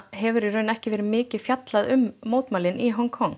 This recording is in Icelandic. hefur í raun ekki verið mikið fjallað um mótmælin í Hong Kong